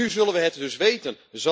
En nu zullen we het dus weten.